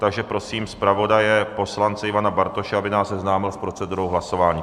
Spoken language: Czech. Takže prosím zpravodaje poslance Ivana Bartoše, aby nás seznámil s procedurou hlasování.